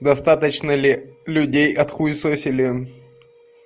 достаточно ли людей отхуесосили